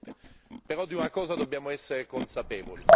Ognuno è libero di farlo, il percorso legislativo lo consente.